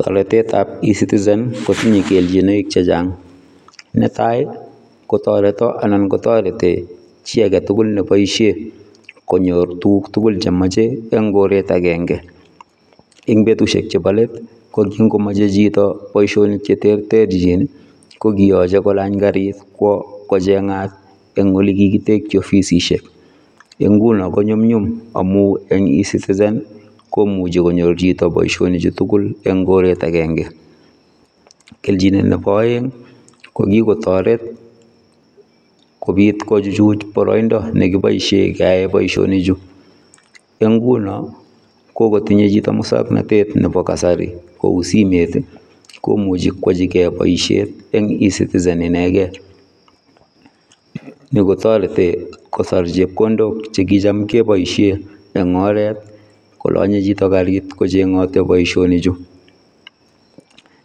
Toretetab eCitizen kotinye kelchinoik chechang netai kotoreto anan kotoreti chiagetugul neboisie konyor tuguk tugul chemoche eng koret akenge eng betusiek chebo let kokingimoche chito boisionik cheterterchin kokiyache kolany karit kwo kochengat eng ole kikitekyi ofisisiek eng nguno konyumnyum amu eng eCitizen komuchi konyor chito boisionichutugul eng koret akenge, Kelchinet nebo aeng kokikotoret kobit kochuchuch boroindo nekiboisie keai boisionichu eng nguno kokatinye chito musaknatet nebo kasari kou simet komuchi kwojigei boisiet eng eCitizen inekei. Ni kotoreti kosor chepkondok chehcham keboisie eng oret kolonye chito karit kochengati boisionichu.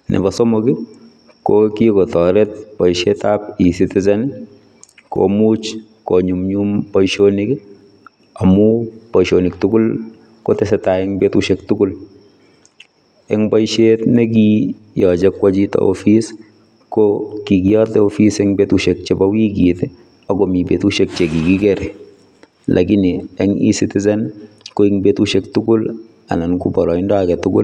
Nebo somok ko kikotoret boisietab ecitizen komuch konyumnyum boisionik amu boisionik tugul kotesetai eng betusiek tugul eng boisiet nekiyochei kwochi chito office ko kikiyotei office eng betusiek chebo wikit akomi betusiek chekikikere lakini eng eCitizen ko ing betusiek tugul anan ko boroindo agetugul.